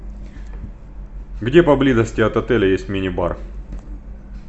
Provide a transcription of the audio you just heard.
где поблизости от отеля есть мини бар